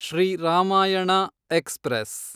Shri Ramayana express